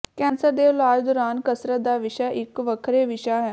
cancer ਦੇ ਇਲਾਜ ਦੌਰਾਨ ਕਸਰਤ ਦਾ ਵਿਸ਼ਾ ਇਕ ਵੱਖਰੇ ਵਿਸ਼ਾ ਹੈ